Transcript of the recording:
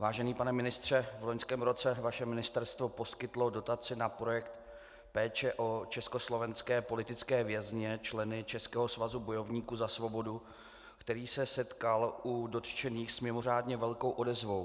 Vážený pane ministře, v loňském roce vaše ministerstvo poskytlo dotaci na projekt Péče o československé politické vězně, členy Českého svazu bojovníků za svobodu, který se setkal u dotčených s mimořádně velkou odezvou.